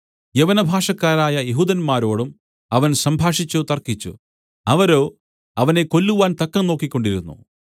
യവനഭാഷക്കാരായ യെഹൂദന്മാരോടും അവൻ സംഭാഷിച്ചു തർക്കിച്ചു അവരോ അവനെ കൊല്ലുവാൻ തക്കം നോക്കിക്കൊണ്ടിരുന്നു